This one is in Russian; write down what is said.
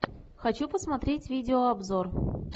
хочу посмотреть видеообзор